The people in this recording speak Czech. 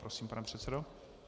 Prosím, pane předsedo.